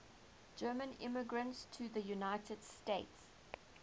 german immigrants to the united states